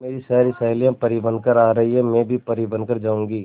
मेरी सारी सहेलियां परी बनकर आ रही है मैं भी परी बन कर जाऊंगी